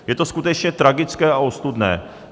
Je to skutečně tragické a ostudné.